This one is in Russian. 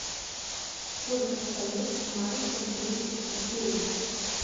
сколько страниц в маленьком принце экзюпери